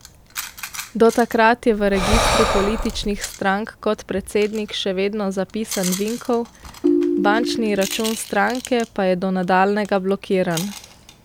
Do takrat je v registru političnih strank kot predsednik še vedno zapisan Vinkov, bančni račun stranke pa je do nadaljnjega blokiran.